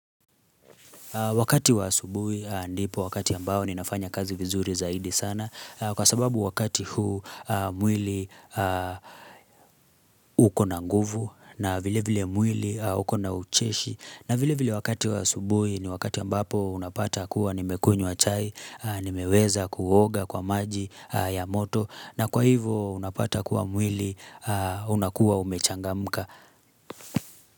Wakati wa asubuhi ndipo wakati ambao ninafanya kazi vizuri zaidi sana kwa sababu wakati huu mwili ukona nguvu na vile vile mwili ukona ucheshi na vile vile wakati wa asubuhi ni wakati ambapo unapata kuwa nimekunywa chai, nimeweza kuoga kwa maji ya moto na kwa hivyo unapata kuwa mwili unakuwa umechangamka.